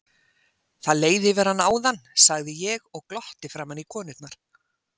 Það leið yfir hana áðan, sagði ég og glotti framan í konurnar.